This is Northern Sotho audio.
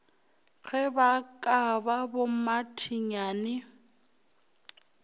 ge ba ka ba bommathinyane